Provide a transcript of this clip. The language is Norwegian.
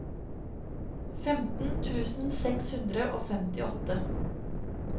femten tusen seks hundre og femtiåtte